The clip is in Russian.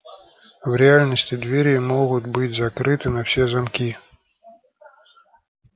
в реальности двери могут быть закрыты на все замки